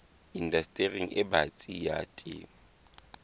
indastering e batsi ya temo